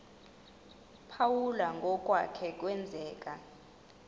phawula ngokwake kwenzeka